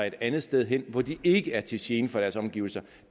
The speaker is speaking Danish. et andet sted hen hvor de ikke er til gene for deres omgivelser